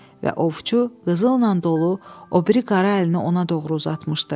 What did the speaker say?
və ovçu qızılla dolu o biri qara əlini ona doğru uzatmışdı.